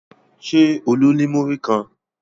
Ṣé Olú ní múrí kan?